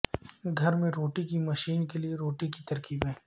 گھر میں روٹی کی مشین کے لئے روٹی کی ترکیبیں